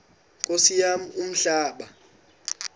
nkosi yam umhlaba